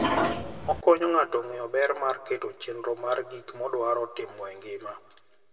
Okonyo ng'ato ng'eyo ber mar keto chenro mar gik modwaro timo e ngima.